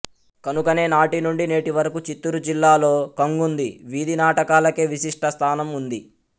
కనుకనే నాటి నుండి నేటి వరకు చిత్తూరు జిల్లాలో కంగుంది వీధి నాటకాలకే విశిష్ట స్థానం వుంది